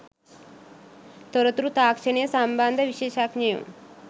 තොරතුරු තාක්ෂණය සම්බන්ධ විශේෂඥයො